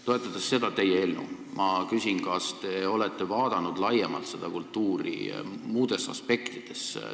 Toetades seda teie eelnõu, ma küsin, kas te olete vaadanud seda kultuuri laiemalt, muudes aspektides.